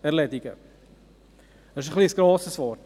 Das ist ein etwas grosses Wort.